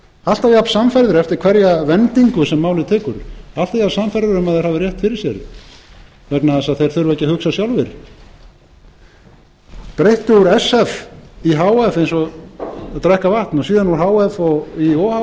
alltaf jafnsannfærður eftir hverja vendingu sem málið tekur alltaf jafnsannfærður um að þeir hafi rétt fyrir sér vegna þess að þeir þurfa ekki að hugsa sjálfir þeir breyttu úr sf í h f eins og að drekka vatn og síðan úr h f í o h